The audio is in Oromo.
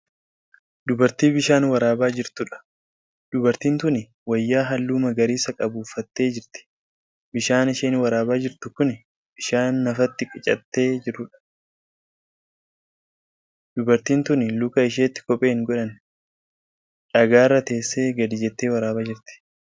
Dubartii bishaan waraabaa jortuudha. dubartiin tuni wayyaa halluu magariisa qabu uffattee jirti. bishaan isheen waraabaa jirtu Kuni bishaan nafatti qicattee jiruudha. dubartiin tuni Luka isheettii kophee hin godhanne. dhagaarra teessee gadi jettee waraabaa jirtu.